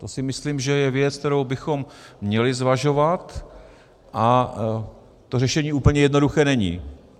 To si myslím, že je věc, kterou bychom měli zvažovat, a to řešení úplně jednoduché není.